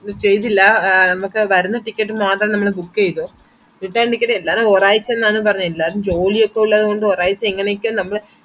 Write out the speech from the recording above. ക്ക് ചെയ്തില്ല നമക് വരുന്ന ticket മാത്ര നമ്മൾ book ചെയ്തേ return ticket എല്ലാരു ഒരായ്ച്ച ന്നാണ് പറഞ്ഞെ എല്ലാരു ജോലി ഒക്കെ ഒള്ളത് കൊണ്ട് ഒരായ്ച്ച എങ്ങനൊക്കെയോ നമ്മൾ